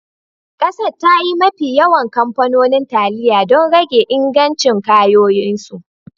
Kasar, ta yi mafi yawan kamfanonin taliya don rage ingancin kayayyakinsu